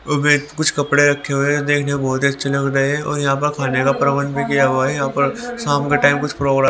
और मैंने कुछ कपड़े रखे हुए हैं जो देखने में बहुत ही अच्छे लग रहे हैं और यहां पर खाने का प्रवन भी किया हुआ है यहां पर शाम के टाइम कुछ प्रोग्राम --